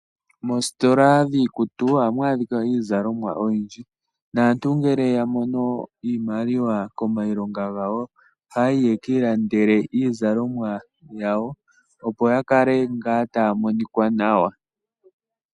Mositola dhikutu ohamu adhika izalomwa oyindji, naantu nge yamono Iimaliwa komayilonga gawo ,oha yayi ya ki ilandele izalomwa yawo opo yakale nga tamonika nawa.